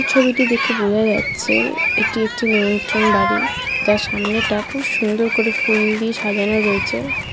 ছবিটি দেখে বোঝা যাচ্ছে এটি একটি নিমন্ত্রণ বাড়ি যার সামনেরটা সুন্দর করে ফুল দিয়ে সাজানো রয়েছে ।